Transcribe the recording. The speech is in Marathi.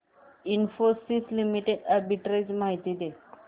इन्फोसिस लिमिटेड आर्बिट्रेज माहिती दे